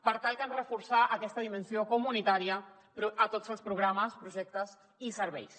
per tant cal reforçar aquesta dimensió comunitària a tots els programes projectes i serveis